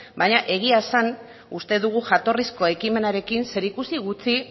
baina egia esan uste dugu jatorrizko ekimenarekin zerikusi gutxi